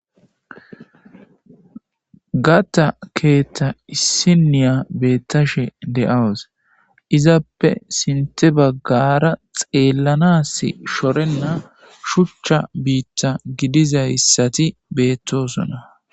Gatta keetta issiniya beettashe de'awus .Izappe sintha baggara xeellanas shorenna shuchcha biitta gidiza issati beettosona.